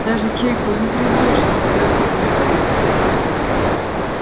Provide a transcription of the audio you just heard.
даже чайку не предложите спросил михаил